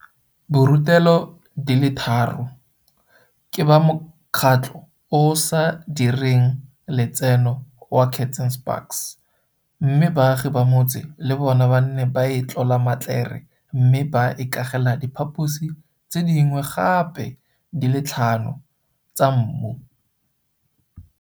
Borutelo di le tharo ke ba mokgatlo o o sa direng le tseno wa Kats and Spaks, mme baagi ba motse le bona ba ne ba itlola matlere mme ba ikagela diphaposi tse dingwe gape di le tlhano tsa mmu.